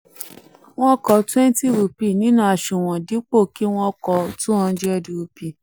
wọ́n kọ twenty rupee nínú aṣunwon dipo ki wọ́n kọ two hundred rupee